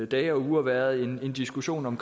dage og uger har været en diskussion om